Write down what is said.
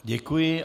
Děkuji.